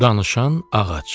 Danışan ağac.